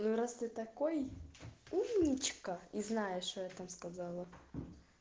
раз ты такой умничка и знаешь это сказала